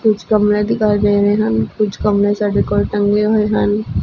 ਕੁਝ ਕਮਲੇ ਦਿਖਾਈ ਦੇ ਰਹੇ ਹਨ ਕੁਝ ਕੰਮ ਨੇ ਸਾਡੇ ਕੋਲ ਟੰਗੇ ਹੋਏ ਹਨ।